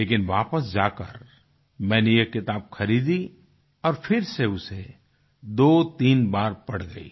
लेकिन वापस जाकर मैंने ये किताब खरीदी और उसे 23 बार पढ़ गई